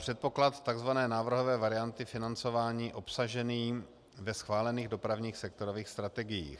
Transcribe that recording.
Předpoklad tzv. návrhové varianty financování obsažený ve schválených dopravních sektorových strategiích.